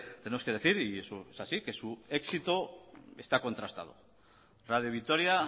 tenemos que decir y eso es así que su éxito está contrastado radio vitoria